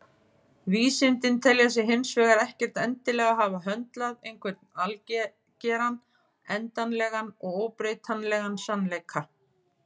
Vísindin telja sig hins vegar ekkert endilega hafa höndlað einhvern algeran, endanlegan og óbreytanlegan sannleika.